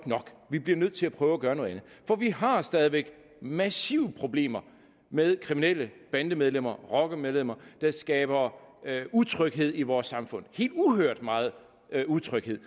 vi bliver nødt til at prøve at gøre noget andet for vi har stadig væk massive problemer med kriminelle bandemedlemmer rockermedlemmer der skaber utryghed i vores samfund helt uhørt meget utryghed